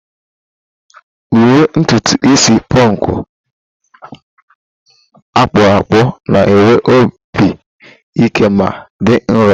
Uwe ntutu isi punk akpụkpọ na-enwe obi ike ma dị nro.